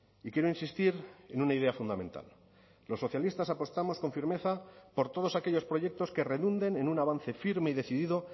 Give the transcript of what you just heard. y quiero insistir en una idea fundamental los socialistas apostamos con firmeza por todos aquellos proyectos que redunden en un avance firme y decidido